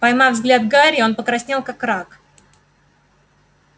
поймав взгляд гарри он покраснел как рак